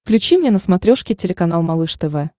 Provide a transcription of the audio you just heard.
включи мне на смотрешке телеканал малыш тв